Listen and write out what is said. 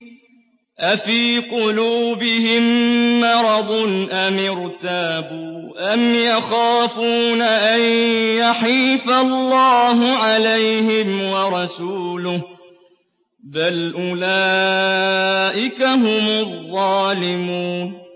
أَفِي قُلُوبِهِم مَّرَضٌ أَمِ ارْتَابُوا أَمْ يَخَافُونَ أَن يَحِيفَ اللَّهُ عَلَيْهِمْ وَرَسُولُهُ ۚ بَلْ أُولَٰئِكَ هُمُ الظَّالِمُونَ